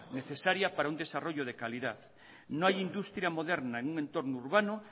necesaria para un desarrollo de calidad no hay industria moderna en un entorno urbano